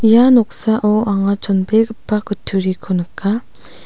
ia noksao anga chonbegipa kutturiko nika.